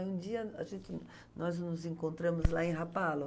E um dia a gente, nós nos encontramos lá em Rapalo.